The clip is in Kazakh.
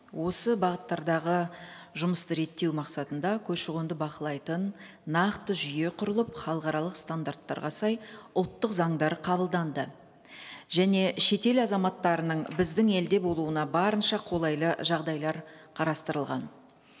осы бағыттардағы жұмысты реттеу мақсатында көші қонды бақылайтын нақты жүйе құрылып халықаралық стандарттарға сай ұлттық заңдар қабылданды және шетел азаматтарының біздің елде болуына барынша қолайлы жағдайлар қарастырылған